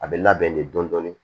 A bɛ labɛn de dɔɔnin